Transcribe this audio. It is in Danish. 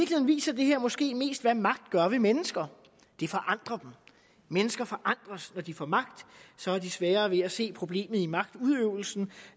viser det her måske mest hvad magt gør ved mennesker det forandrer dem mennesker forandres når de får magt så har de sværere ved at se problemet i magtudøvelsen